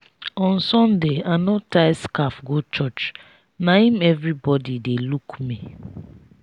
on sunday i no tie scarf go church na im everybody dey look me.